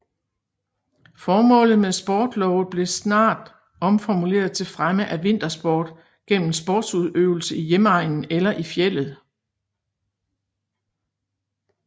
Formålet med sportlovet blev snart omformuleret til fremme af vintersport gennem sportsudøvelse i hjemegnen eller i fjeldet